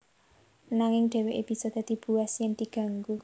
Nanging dheweke bisa dadi buas yen diganggu